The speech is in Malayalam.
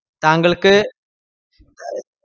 താങ്കള്ക്ക്